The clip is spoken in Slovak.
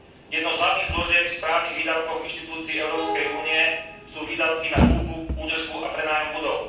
Jednou z hlavných zložiek v správnych výdavkoch inštitúcií Európskej únie sú výdavky na kúpu, údržbu a prenájom budov.